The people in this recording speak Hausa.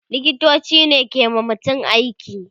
liktoci ne ke wa mutum aiki